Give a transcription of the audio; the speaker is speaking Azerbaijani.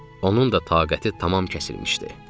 Onun da taqəti tamam kəsilmişdi.